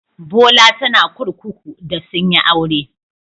Bola tana kurkuku da sun yi aure.